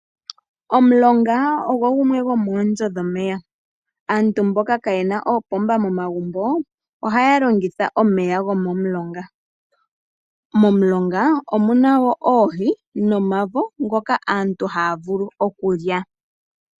Omulonga ogwo gumwe gwomoonzo dhomeya. Aantu mboka kaayena oopomba momagumbo ohaya longitha omeya gomomulonga. Molulonga omuna wo oohi nomavo ngoka haa vulu okulya.